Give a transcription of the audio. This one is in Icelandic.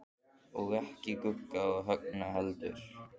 Og ekki Gugga og Högna heldur.